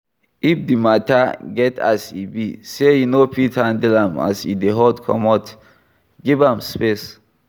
If di matter get as e be sey you no fit handle am as e dey hot comot, give am space